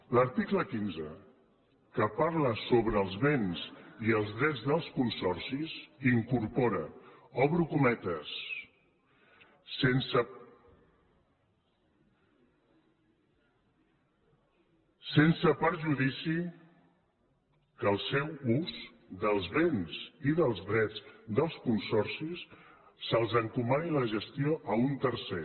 l’article quinze que parla sobre els béns i els drets dels consorcis incorpora obro cometes sens perjudici que el seu ús dels béns i dels drets dels consorcis s’encomani i la gestió a un tercer